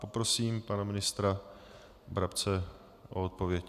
Poprosím pana ministra Brabce o odpověď.